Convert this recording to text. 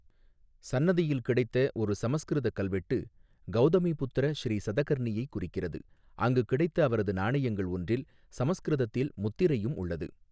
சன்னதியில் கிடைத்த ஒரு சமஸ்கிருத கல்வெட்டு கௌதமிபுத்ர ஸ்ரீ சதகர்ணியைக் குறிக்கிறது, அங்கு கிடைத்த அவரது நாணயங்கள் ஒன்றில் சமஸ்கிருதத்தில் முத்திரையும் உள்ளது.